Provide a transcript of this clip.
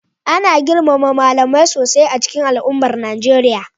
Ana girmama malamai sosai a cikin al'ummar Najeriya,